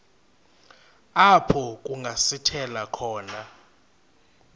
apho kungasithela khona